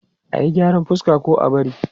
A yi gyaran fuska ko a bari?